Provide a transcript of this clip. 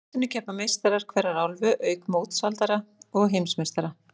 Á mótinu keppa meistarar hverrar álfu, auk mótshaldara og heimsmeistara.